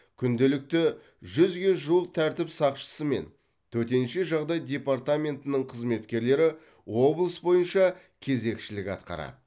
күнделікті жүзге жуық тәртіп сақшысы мен төтенше жағдай департаментінің қызметкерлері облыс бойынша кезекшілік атқарады